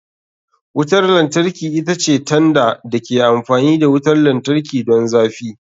Wutar lantarki ita ce tanda da ke amfani da wutar lantarki don zafi.